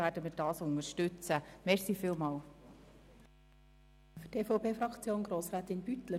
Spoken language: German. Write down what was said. Deshalb werden wir diese Rückweisung unterstützen.